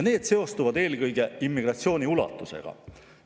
Need seostuvad eelkõige immigratsiooni ulatusega.